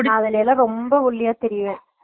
நா அதுலயெல்லா ரொம்ப ஒல்லியா தெரிவ்வே